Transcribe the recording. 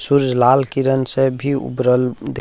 सूर्य लाल किरण से भी उभरल द --